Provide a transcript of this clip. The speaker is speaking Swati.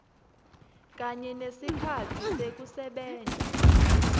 kanye nesikhatsi sekusebenta